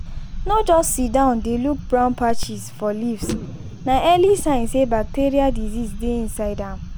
no just siddon dey look brown patches for leaves na early sign say bacterial disease dey inside am.